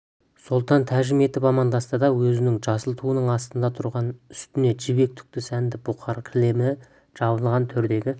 сұлтан тәжім етіп амандасты да өзінің жасыл туының астында тұрған үстіне жібек түкті сәнді бұқар кілемі жабылған төрдегі